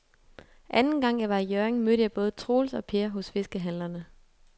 Anden gang jeg var i Hjørring, mødte jeg både Troels og Per hos fiskehandlerne.